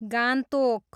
Gangtok